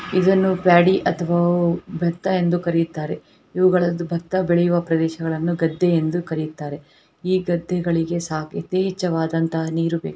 ಇದನ್ನು ಪ್ಯಾಡಿ ಅಥವಾ ಬತ್ತ ಎಂದು ಕರಿಯುತ್ತಾರೆ. ಇವುಗಳದ್ದು ಬತ್ತ ಬೆಳೆಯುವ ಪ್ರದೇಶಗಳನ್ನು ಗದ್ದೆ ಎಂದು ಕರೆಯುತ್ತಾರೆ. ಈ ಗದ್ದೆಗಳಿಗೆ ಯಥೇಚ್ಛ ವಾದಂತಹ ನೀರು ಬೇಕು.